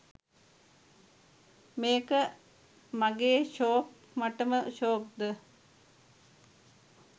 මේක මගේ ෂෝක් මටම ෂෝක්ද?